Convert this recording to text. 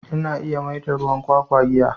Ina iya maida ruwan kwakwa giya.